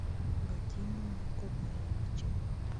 вадимом николаевичем